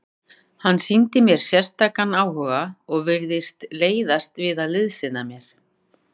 Hann sýndi mér sérstakan áhuga og virtist leitast við að liðsinna mér.